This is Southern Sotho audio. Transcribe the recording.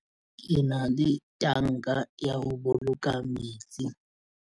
Ke na le tanka ya ho boloka metsi.